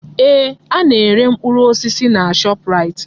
Ee! Ana-ere mkpụrụ osisi na Shọpraịt.